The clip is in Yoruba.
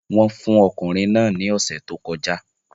Wọ́n fún okùnrin náà ní ọ̀sẹ̀ tó kọjá